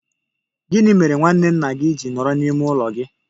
Gị mere nwanne nna gị ji nọ n'ime ime ụlọ gị?